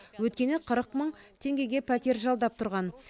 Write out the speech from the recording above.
өйткені қырық мың теңгеге пәтер жалдап тұрған